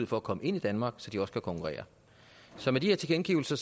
for at komme ind i danmark så de kan konkurrere så med de her tilkendegivelser